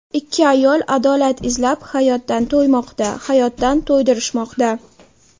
Ikki ayol adolat izlab hayotdan to‘ymoqda, hayotdan to‘ydirishmoqda.